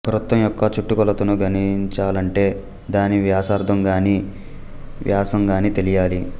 ఒక వృత్తం యొక్క చుట్టుకొలతను గణించాలంటే దాని వ్యాసార్థం గాని లేదా వ్యాసం గాని తెలియాలి